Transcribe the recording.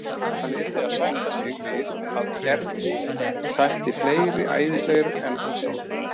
Hann yrði að sætta sig við að Gerði þætti fleiri æðislegir en hann sjálfur.